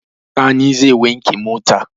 Sani zai wanke mota.